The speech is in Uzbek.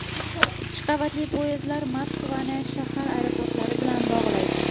Ikki qavatli poyezdlar Moskvani shahar aeroportlari bilan bog‘laydi.